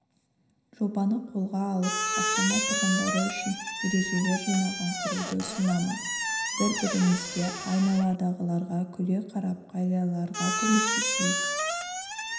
жобасын қолға алып астана тұрғындары үшін ережелер жинағын құруды ұсынамын бір-бірімізге айналадағыларға күле қарап қарияларға көмектесейік